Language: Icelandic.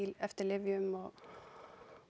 eftir lyfjum og